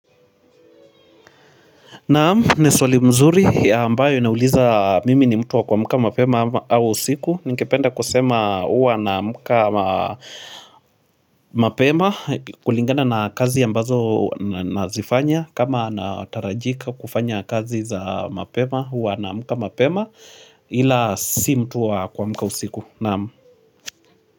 Naam, ni swali mzuri ambayo inauliza mimi ni mtu wa kuamka mapema au usiku. Ningependa kusema huwa naamka mapema kulingana na kazi ambazo nazifanya. Kama natarajika kufanya kazi za mapema huwa naamka mapema ila si mtu wa kuamka usiku. Naam.